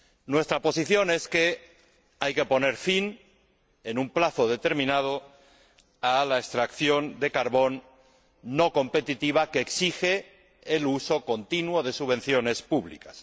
Nuestra posición es que hay que poner fin, en un plazo determinado, a la extracción de carbón no competitiva que exige el uso continuo de subvenciones públicas.